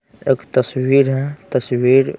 एक तस्वीर हैं तस्वीर--